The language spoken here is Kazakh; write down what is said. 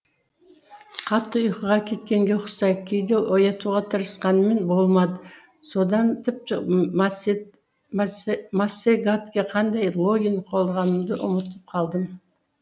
қатты ұйқыға кеткенге ұқсайды кейде оятуға тырысқаныммен болмады содан тіпті массагатке қандай логин қолданғанымды ұмытып қалдым